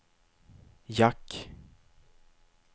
jack